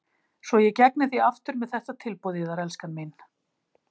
Svo ég gegni því aftur með þetta tilboð yðar, elskan mín.